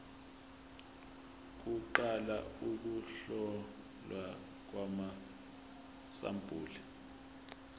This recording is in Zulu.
kuqala ukuhlolwa kwamasampuli